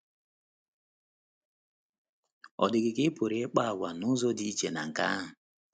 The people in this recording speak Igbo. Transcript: Ọ̀ dị gị ka ị pụrụ ịkpa àgwà n’ụzọ dị iche na nke ahụ?